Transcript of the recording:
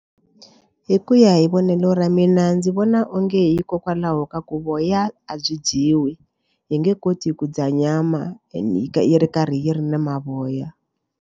Hi ku ya hi vonelo ra mina ndzi vona onge hikokwalaho ka ku voya a byi dyiwi hi nge koti ku dya nyama ende yi ri karhi yi ri na mavoya.